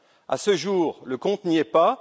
À ce jour, le compte n'y est pas.